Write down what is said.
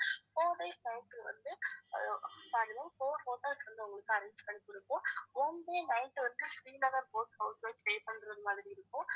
four days night வந்து பாருங்க four hotels ல வந்து உங்களுக்கு arrange பண்ணி கொடுப்போம் one day night வந்து ஸ்ரீநகர் boat house ல stay பண்றது மாதிரி இருக்கும்